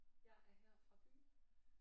Jeg er her fra byen